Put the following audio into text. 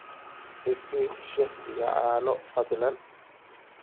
I sii shaah iyo caano, fadlan.